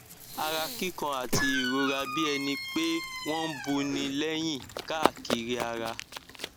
ara kíkan àti ìrora bí ẹni pé wọn ń buni léyín káàkiri ara